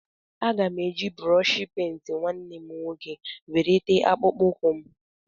Aga m eji brọshi pent nwanne m nwoke were tee akpụkpọ ụkwụ m.